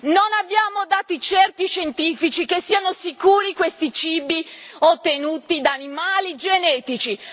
Non abbiamo dati certi scientifici che siano sicuri questi cibi ottenuti da animali genetici.